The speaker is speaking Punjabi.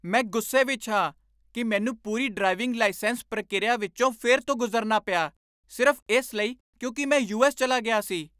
ਮੈਂ ਗੁੱਸੇ ਵਿੱਚ ਹਾਂ ਕਿ ਮੈਨੂੰ ਪੂਰੀ ਡਰਾਈਵਿੰਗ ਲਾਈਸੈਂਸ ਪ੍ਰਕਿਰਿਆ ਵਿੱਚੋਂ ਫਿਰ ਤੋਂ ਗੁਜ਼ਰਨਾ ਪਿਆ ਸਿਰਫ਼ ਇਸ ਲਈ ਕਿਉਂਕਿ ਮੈਂ ਯੂ.ਐੱਸ. ਚਲਾ ਗਿਆ ਸੀ।